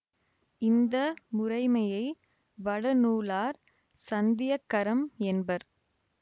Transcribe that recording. இந்த முறைமையை வடநூலார் சந்தியக்கரம் என்பர்